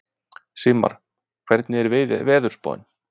Sigmar, hvernig er veðurspáin?